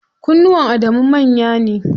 Kunnuwan Adamu manya ne.